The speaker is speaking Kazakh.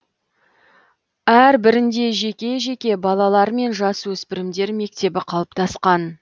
әр бірінде жеке жеке балалар мен жасөспірімдер мектебі қалыптасқан